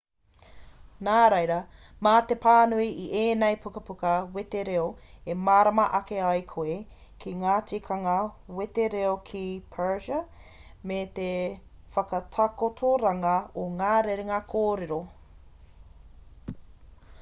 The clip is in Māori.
nā reira mā te pānui i ēnei pukapuka wetereo e mārama ake ai koe ki ngā tikanga wetereo ki persia me te whakatakotoranga o ngā rerenga kōrero